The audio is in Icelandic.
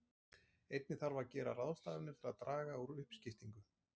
Einnig þarf að gera ráðstafanir til að draga úr uppskiptingu.